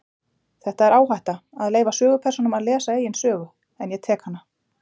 Þetta er áhætta, að leyfa sögupersónum að lesa eigin sögu, en ég tek hana.